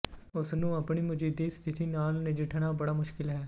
ਉਸ ਨੂੰ ਆਪਣੀ ਮੌਜੂਦਾ ਸਥਿਤੀ ਨਾਲ ਨਜਿੱਠਣਾ ਬੜਾ ਮੁਸ਼ਕਲ ਹੈ